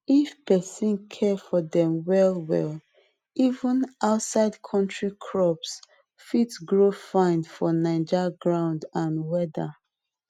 if person care for dem well well even outside country crops fit grow fine for naija ground and weather